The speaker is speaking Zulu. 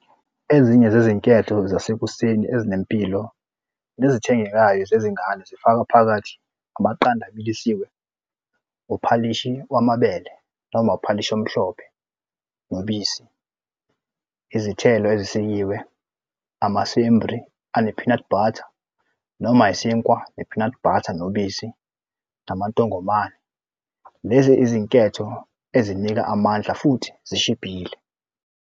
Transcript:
Ezinye zezinketho zasekuseni ezinempilo nezithengekayo zezingane zifaka phakathi amaqanda abilisiwe, uphalishi wamabele noma uphalishi omhlophe, nobisi izithelo ezisikiwe amasembri ane-peanut butter noma isinkwa ne-peanut butter nobisi amantongomane. Lezi izinketho ezinika amandla futhi zishibhile.